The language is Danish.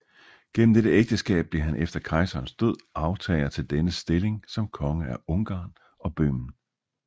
Gennem dette ægteskab blev han efter kejserens død arvtager til dennes stilling som konge af Ungarn og Bøhmen